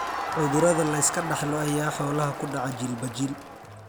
Cudurada la iska dhaxlo ayaa xoolaha ku dhaca jiilba jiil.